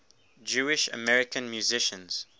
jewish american musicians